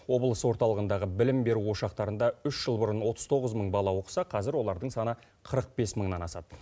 облыс орталығындағы білім беру ошақтарында үш жыл бұрын отыз тоғыз мың бала оқыса қазір олардың саны қырық бес мыңнан асады